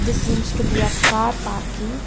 This seems to be a car parking.